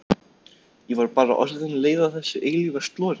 Ég var bara orðin leið á þessu eilífa slori.